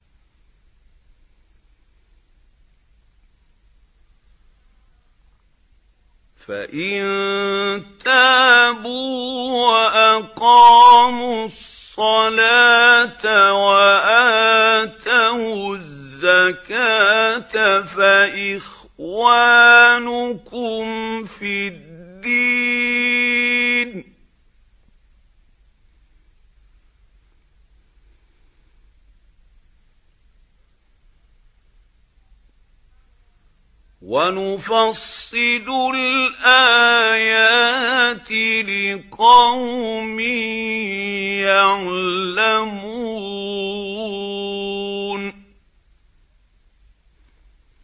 فَإِن تَابُوا وَأَقَامُوا الصَّلَاةَ وَآتَوُا الزَّكَاةَ فَإِخْوَانُكُمْ فِي الدِّينِ ۗ وَنُفَصِّلُ الْآيَاتِ لِقَوْمٍ يَعْلَمُونَ